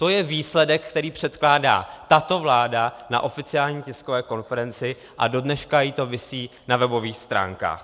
To je výsledek, který předkládá tato vláda na oficiální tiskové konferenci, a dodnes jí to visí na webových stránkách.